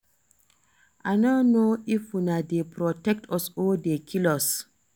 I no know if una dey protect us or dey kill us